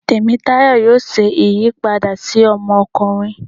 Temitayo yóò ṣe ìyípada si ọmọkunrin.